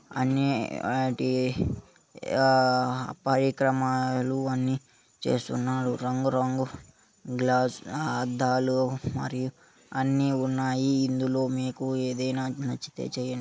అన్నీ ఆ పరికరమాలు అన్నీ చేస్తున్నారు రంగు రంగుల గ్లాసులు అద్దాలు మరియు అన్నీ ఉన్నాయి ఇందులో మీకు ఏదైనా నచ్చితే చేయండి.